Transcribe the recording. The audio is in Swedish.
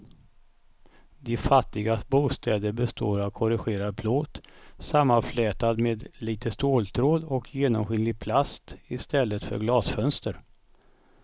De fattigas bostäder består av korrugerad plåt sammanflätad med lite ståltråd och genomskinlig plast i stället för glasfönster.